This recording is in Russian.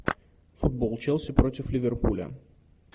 футбол челси против ливерпуля